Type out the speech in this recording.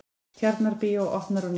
Tjarnarbíó opnað á ný